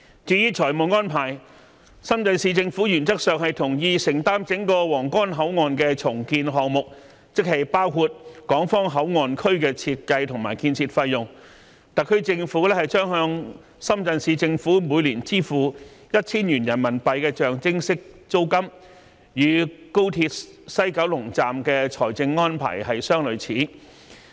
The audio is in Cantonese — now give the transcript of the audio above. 至於財務安排，深圳市政府原則上同意承擔整個皇崗口岸重建項目，即包括港方口岸區的設計及建設費用，特區政府將向深圳市政府每年支付 1,000 元人民幣象徵式租金，與高鐵西九龍站的財政安排相類似。